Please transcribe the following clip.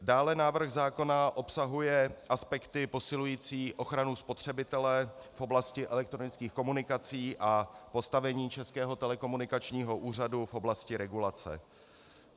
Dále návrh zákona obsahuje aspekty posilující ochranu spotřebitele v oblasti elektronických komunikací a postavení Českého telekomunikačního úřadu v oblasti regulace.